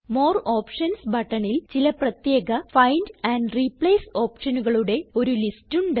more options ബട്ടണിൽ ചില പ്രത്യേക ഫൈൻഡ് ആൻഡ് റിപ്ലേസ് ഓപ്ഷനുകളുടെ ഒരു ലിസ്റ്റ് ഉണ്ട്